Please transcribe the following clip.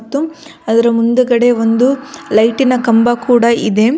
ಮತ್ತು ಅದರ ಮುಂದುಗಡೆ ಒಂದು ಲೈಟಿನ ಕಂಬ ಕೂಡ ಇದೆ.